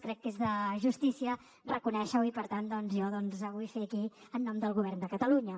crec que és de justícia reconèixer ho i per tant doncs jo ho vull fer aquí en nom del govern de catalunya